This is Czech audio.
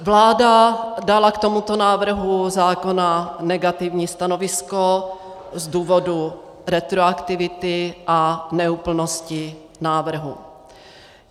Vláda dala k tomuto návrhu zákona negativní stanovisko z důvodu retroaktivity a neúplnosti návrhu.